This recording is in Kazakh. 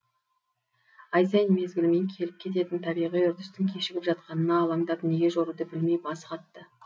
ай сайын мезгілімен келіп кететін табиғи үрдістің кешігіп жатқанына алаңдап неге жоруды білмей басы қатты